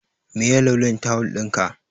Meye launin tawul ɗinka?